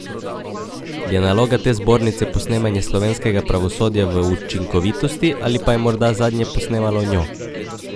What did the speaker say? Je naloga te zbornice posnemanje slovenskega pravosodja v učinkovitosti ali pa je morda zadnje posnemalo njo?